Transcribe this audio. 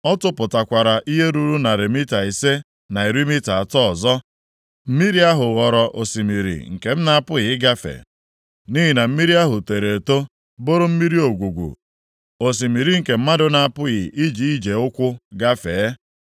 Ọ tụpụtakwara ihe ruru narị mita ise na iri mita atọ ọzọ, mmiri ahụ ghọrọ osimiri nke m na-apụghị ịgafe, nʼihi na mmiri ahụ toro eto bụrụ mmiri ogwugwu, osimiri nke mmadụ na-apụghị iji ije ụkwụ gafee.